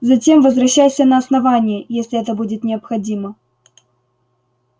затем возвращайся на основание если это будет необходимо